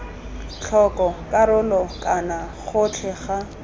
tlhoko karolo kana gotlhe ga